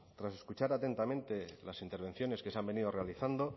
tras escuchar atentamente las intervenciones que se han venido realizando